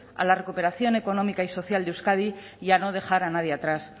a la recuperación económica y social de euskadi y a no dejar a nadie atrás